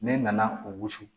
Ne nana o wusu